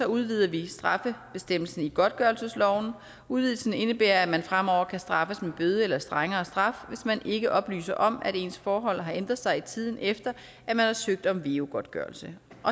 udvider vi straffebestemmelsen i godtgørelsesloven udvidelsen indebærer at man fremover kan straffes med bøde eller strengere straf hvis man ikke oplyser om at ens forhold har ændret sig i tiden efter at man har søgt om veu godtgørelse